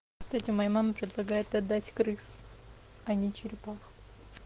кстати моя мама предлагает отдать крыс а не черепах